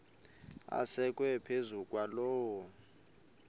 asekwe phezu kwaloo